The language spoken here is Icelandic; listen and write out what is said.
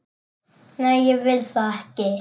Nei, ég vil það ekki.